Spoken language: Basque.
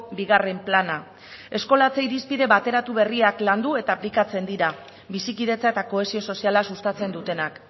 bigarren plana eskolatze irizpide bateratu berriak landu eta aplikatzen dira bizikidetza eta kohesio soziala sustatzen dutenak